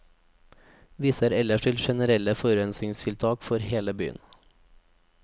Viser ellers til generelle forurensningstiltak for hele byen.